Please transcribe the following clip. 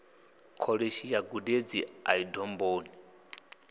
kholishi ya gudedzi ḽa domboni